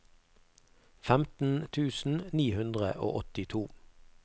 femten tusen ni hundre og åttito